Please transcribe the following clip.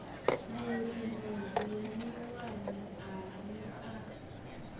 mulimo zwiḽiwani a ri a